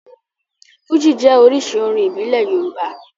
Fújì jẹ́ oríṣi orin ìbílẹ̀ Yorùbá.